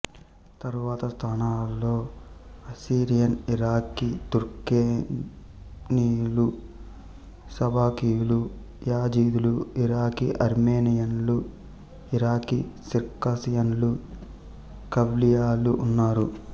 తరువాత స్థానాలలో Assyrian Iraqi తుర్క్మెనీయులు షబకీయులు యజిదీలు ఇరాకీ ఆర్మేనియన్లు ఇరాకీ సిర్కాసియన్లు కవ్లియాలు ఉన్నారు